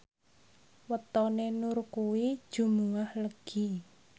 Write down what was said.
wetone Nur kuwi Jumuwah Legi